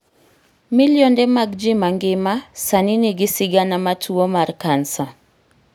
Milionde mag ji ma ngima sani nigi sigana ma tuwo mar cancer